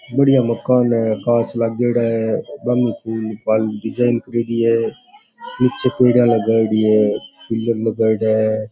बढ़िया मकान है कांच लागेड़ा है फूल पान डिजाइन करेडी है निचे पेड़ा लगायेडी है पिलर लगयेड़ा है।